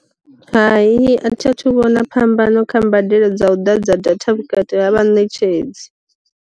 Hayi a thi a thu vhona phambano kha mbadelo dza u ḓa dza data vhukati ha vha ṋetshedzi.